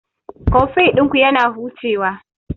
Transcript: Koffi ɗinku yana hucewa..